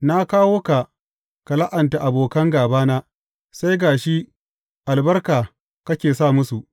Na kawo ka, ka la’anta abokan gābana, sai ga shi albarka kake sa musu!